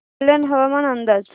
कल्याण हवामान अंदाज